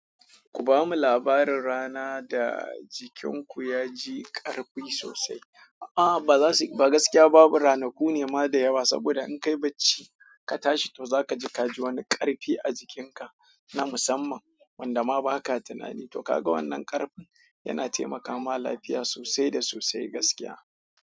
Ku bamu labarin rana da jikinku ya ji ƙarfi sosai. A'a ba za su, ba gaskiya babu ranaku ne ma da yawa saboda in kai bacci ka tashi to za ka ji ka ji wani ƙarfi a jikinka na musamman wanda ma ba ka tunani. To kaga wannan ƙarfin yana taimaka ma lafiya sosai da sosai gaskiya.